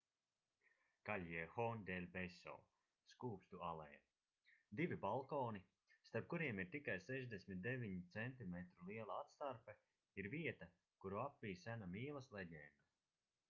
callejon del beso skūpstu aleja. divi balkoni starp kuriem ir tikai 69 centimetru liela atstarpe ir vieta kuru apvij sena mīlas leģenda